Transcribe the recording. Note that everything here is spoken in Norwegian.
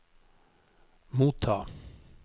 motta